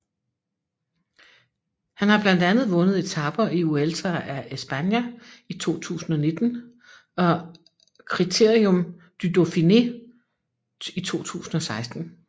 Han har blandt andet vundet etaper i Vuelta a España 2019 og Critérium du Dauphiné 2016